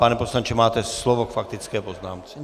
Pane poslanče, máte slovo k faktické poznámce.